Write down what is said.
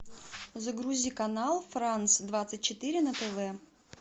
загрузи канал франс двадцать четыре на тв